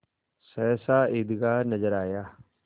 सहसा ईदगाह नजर आया